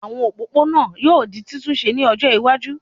Àwọn òpópó-ònà yóò di títún ṣe ní ọjọ́ iwájú